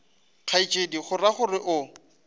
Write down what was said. kgaetšedi o ra gore o